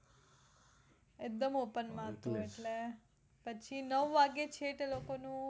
એકદમ open માં હતું એટલે પછી નવ વાગ્યે છેક લોકો નું